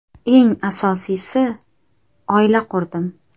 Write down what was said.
Eng asosiysi, oila qurdim.